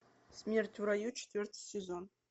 смерть в раю четвертый сезон